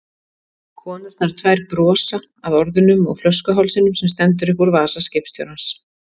Konurnar tvær brosa, að orðunum og flöskuhálsinum sem stendur upp úr vasa skipstjórans.